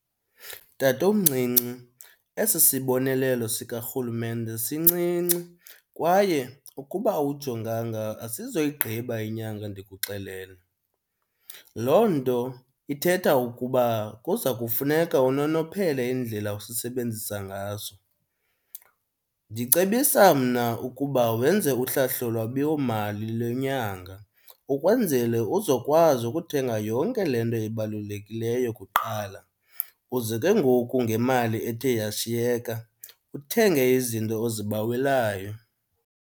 Tatomncinci, esi sibonelelo sikarhulumente sincinci kwaye ukuba awujonganga asizoyigqiba inyanga ndikuxelele. Loo nto ithetha ukuba kuza kufuneka unonophele indlela osisebenzisa ngaso. Ndicebisa mna ukuba wenze uhlahlolwabiwomali lwenyanga ukwenzele uzokwazi ukuthenga yonke le nto ibalulekileyo kuqala, uze ke ngoku ngemali ethe yashiyeka uthenge izinto ozibawelayo.